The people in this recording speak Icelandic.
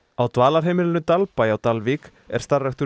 á dvalarheimilinu Dalbæ á Dalvík er starfræktur